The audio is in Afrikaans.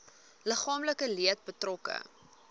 liggaamlike leed betrokke